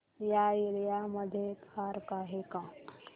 या एरिया मध्ये पार्क आहे का